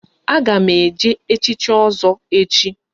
A ga m eje echichi Ozo echi